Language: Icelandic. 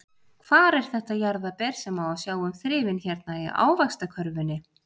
Hvar er þetta jarðarber sem á að sjá um þrifin hérna í ávaxtakörfunni?